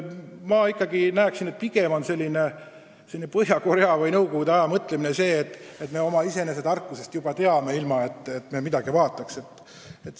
Minu arvates on see pigem Põhja-Koreale või Nõukogude Liidule omane mõtlemine, et küll me teame kõike iseenese tarkusest, pole vaja midagi uurida.